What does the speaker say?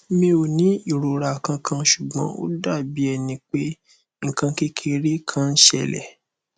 mi o ni irora kankan ṣugbọn o dabi ẹni pe nkan kekere kan n ṣẹlẹ